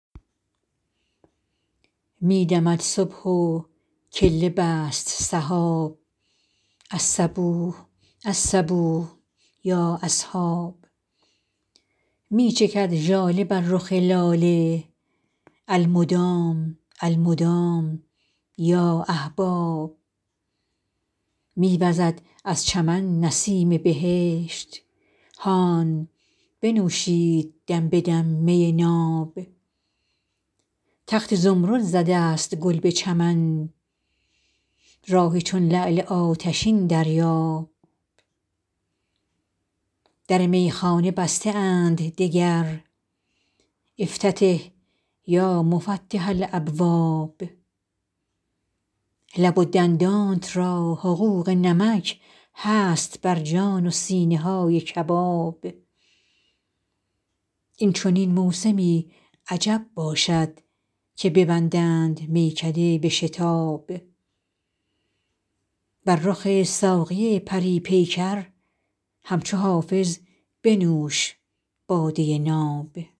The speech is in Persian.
می دمد صبح و کله بست سحاب الصبوح الصبوح یا اصحاب می چکد ژاله بر رخ لاله المدام المدام یا احباب می وزد از چمن نسیم بهشت هان بنوشید دم به دم می ناب تخت زمرد زده است گل به چمن راح چون لعل آتشین دریاب در میخانه بسته اند دگر افتتح یا مفتح الابواب لب و دندانت را حقوق نمک هست بر جان و سینه های کباب این چنین موسمی عجب باشد که ببندند میکده به شتاب بر رخ ساقی پری پیکر همچو حافظ بنوش باده ناب